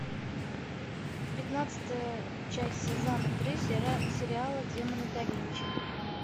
пятнадцатая часть сезона три сериала демоны да винчи